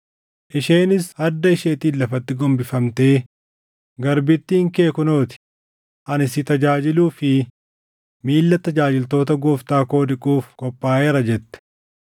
Isheenis adda isheetiin lafatti gombifamtee, “Garbittiin kee kunoo ti; ani si tajaajiluu fi miilla tajaajiltoota gooftaa koo dhiquuf qophaaʼeera” jette.